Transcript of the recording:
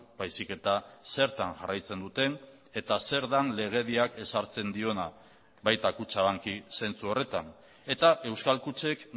baizik eta zertan jarraitzen duten eta zer den legediak ezartzen diona baita kutxabanki zentsu horretan eta euskal kutxek